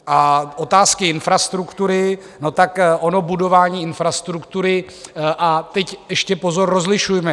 A otázky infrastruktury - no tak ono budování infrastruktury a teď ještě pozor, rozlišujme.